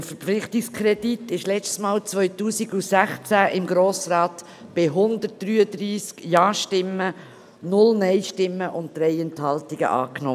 Der Verpflichtungskredit wurde zum letzten Mal 2016 im Grossen Rat mit 133 Ja- gegen 0 Nein-Stimmen und 3 Enthaltungen angenommen.